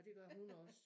Og det gør hun også